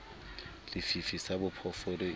le fifi sa phoofolo e